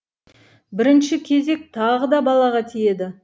бірінші кезек тағы да балаға тиеді